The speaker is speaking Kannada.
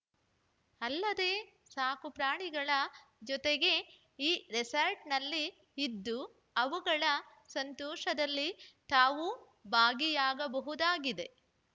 ಅಲ್ಲದೇ ಸಾಕುಪ್ರಾಣಿಗಳ ಜೊತೆಗೇ ಈ ರೆಸಾರ್ಟ್‌ನಲ್ಲಿ ಇದ್ದು ಅವುಗಳ ಸಂತೋಷದಲ್ಲಿ ತಾವೂ ಭಾಗಿಯಾಗಬಹುದಾಗಿದೆ